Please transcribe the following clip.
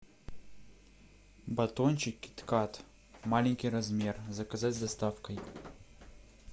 батончик кит кат маленький размер заказать с доставкой